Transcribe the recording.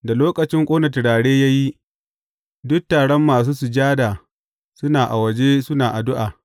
Da lokacin ƙone turare ya yi, duk taron masu sujada suna a waje suna addu’a.